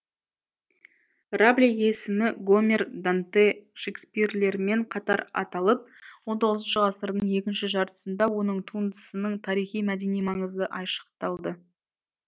рабле есімі гомер данте шекспирлермен қатар аталып он тоғызыншы ғасырдың екінші жартысында оның туындысының тарихи мәдени маңызы айшықталды